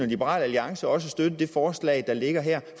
liberal alliance også støtte det forslag der ligger her